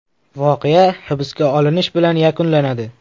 Voqea hibsga olinish bilan yakunlanadi.